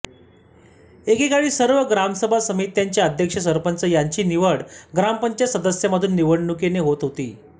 एकेकाळी सर्व ग्रामसभा समित्यांचे अध्यक्ष सरपंच यांची निवड ग्रामपंचायत सदस्यांमधून निवडणुकीने होत होती